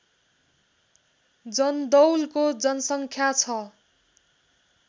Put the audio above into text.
जन्दौलको जनसङ्ख्या छ